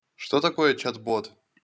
что такое чат-бот